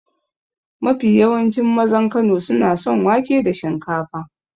Mafi yawancin mazan Kano suna son wake da shinkafa.